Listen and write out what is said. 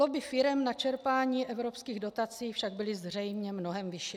Lobby firem na čerpání evropských dotací však byly zřejmě mnohem větší.